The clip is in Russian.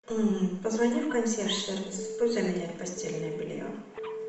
м позвони в консьерж сервис пусть заменят постельное белье